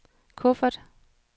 kuffert